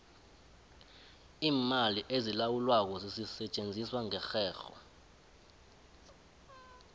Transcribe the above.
iimali ezilawulwako zisetjenziswa ngerherho